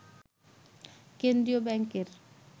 কেন্দ্রীয় ব্যাংকের